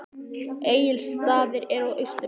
Egilsstaðir eru á Austurlandi.